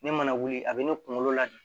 Ne mana wuli a bɛ ne kunkolo ladi